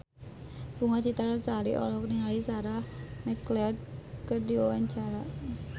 Bunga Citra Lestari olohok ningali Sarah McLeod keur diwawancara